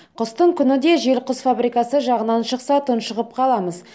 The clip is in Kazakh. қыстың күні де жел құс фабрикасы жағынан шықса тұншығып қаламыз